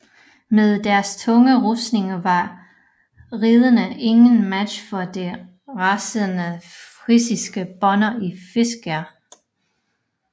Med deres tunge rustning var ridderne ingen match for de rasende frisiske bønder og fiskere